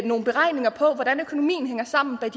nogle beregninger på hvordan økonomien hænger sammen bag